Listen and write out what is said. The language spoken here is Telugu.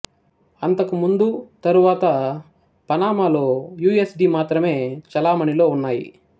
అంతకు ముందు తరువాత పనామాలో యు ఎస్ డి మాత్రమే చలామణిలో ఉన్నాయి